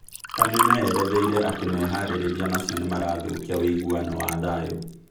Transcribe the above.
Kameme yeretheire atĩ meharĩrĩrĩa macio nimarathũkia ũiguano wa thayũ